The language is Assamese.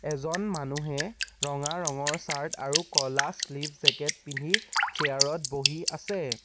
এজন মানুহে ৰঙা ৰঙৰ চাৰ্ট আৰু ক'লা শ্লীভ জেকেট পিন্ধি চিয়াৰত বহি আছে।